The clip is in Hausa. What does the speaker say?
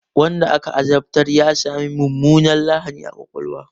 Wanda aka azabtar ya sami mummunar lahani a ƙwaƙwalwa.